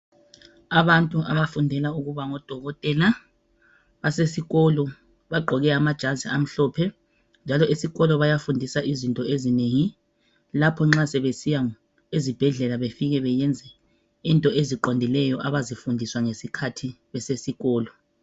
Abantu abafundela ukuba ngodokotela basesikolo bagqoke amajazi amhlophe njalo esikolo bayafundiswa izinto ezinengi lapho nxa sebesiya ezibhedlela befike beyenze into eziqondileyo abazifundiswa ngesikhathi besesikolo.